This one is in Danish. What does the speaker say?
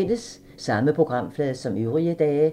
Samme programflade som øvrige dage